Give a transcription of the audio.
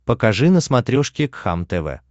покажи на смотрешке кхлм тв